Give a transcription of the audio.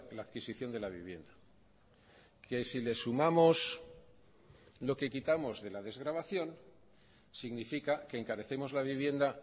la adquisición de la vivienda que si le sumamos lo que quitamos de la desgravación significa que encarecemos la vivienda